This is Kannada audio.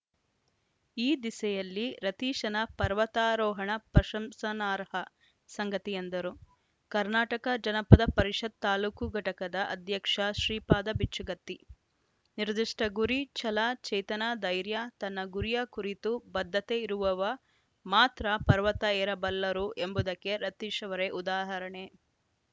ಈ ದಿಸೆಯಲ್ಲಿ ರತೀಶನ ಪರ್ವತಾರೋಹಣ ಪ್ರಶಂಸನಾರ್ಹ ಸಂಗತಿ ಎಂದರು ಕರ್ನಾಟಕ ಜನಪದ ಪರಿಷತ್‌ ತಾಲೂಕು ಘಟಕದ ಅಧ್ಯಕ್ಷ ಶ್ರೀಪಾದ ಬಿಚ್ಚುಗತ್ತಿ ನಿರ್ದಿಷ್ಟಗುರಿ ಛಲ ಚೇತನ ಧೈರ್ಯ ತನ್ನ ಗುರಿಯ ಕುರಿತು ಬದ್ಧತೆ ಇರುವವ ಮಾತ್ರ ಪರ್ವತ ಏರಬಲ್ಲರು ಎಂಬುದಕ್ಕೆ ರತೀಶ್‌ ಅವರೇ ಉದಾಹರಣೆ